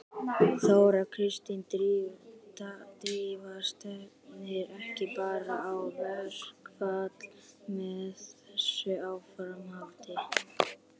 Þóra Kristín: Drífa stefnir ekki bara í verkfall með þessu áframhaldi?